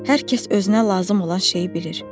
Hər kəs özünə lazım olan şeyi bilir.